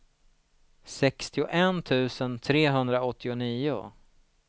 sextioett tusen trehundraåttionio